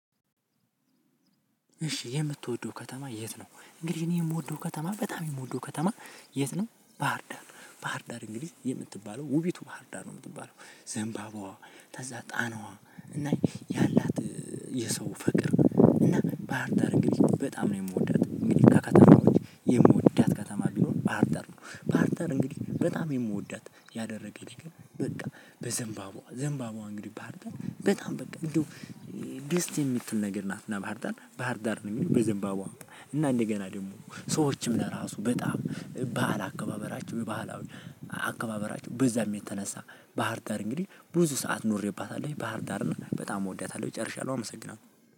እሺ የምትወደው ከተማ የት ነው? እንግዲህ እኔ የምወደው ከተማ በጣም የምወደው ከተማ የት ነው ባህርዳር ባህርዳር እንግዲህ የምትባለው ውቢቱ ባህርዳር ነው የምትባለው ዘንባባዋ ተዛ ጣናዋ እና ያላት የሰው ፍቅር እና ባህርዳር እንግዲህ በጣም ነው የምወዳት እንግዲህ ከከተማዎች የምወዳት ከተማ ቢኖር ባህርዳር ነው ባህርዳር እንግዲህ በጣም የምወዳት ያደረገኝ ነገር በቃ በዘንባባዋ ዝንባባዋ እንግዲህ ባህርዳር በጣም በቃ እንደው ደስ የምትል ነገርናት ባህርዳር ነው። ሚሉት ባህርዳር በዘንባባዋ ነው። እንደገና ደግሞ ሰዎችም ለራሱ በዓል አከባበራቸው በዛም የተነሳ ባህር ዳር እንግዲህ ብዙ ሰዓት ኖሬባታለው በጣም እወዳታለሁ። ጨርሻታለው አመሰግናለሁ